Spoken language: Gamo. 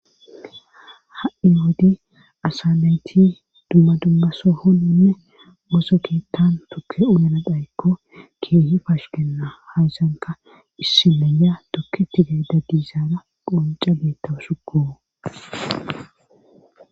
Ha i yoodi asaanayti dumma dumbaso honnonne moso keettan tukke uyanadhayekko keehi fash genna hazanka issimeya tokke tige da diizaara qonca beettau sukoo.